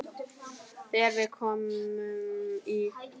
Þegar við komum í